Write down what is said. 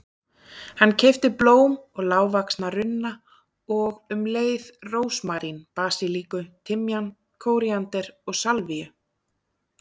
Hann keypti blóm og lágvaxna runna og um leið rósmarín, basilíku, timjan, kóríander og salvíu.